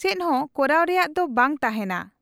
ᱪᱮᱫᱦᱚᱸ ᱠᱟᱨᱟᱣ ᱨᱮᱭᱟᱜ ᱵᱟᱝ ᱛᱟᱦᱮᱱᱟ ᱾